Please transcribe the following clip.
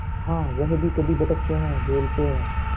हाँ वह भी कभी भटकते हैं भूलते हैं